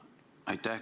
Aitäh!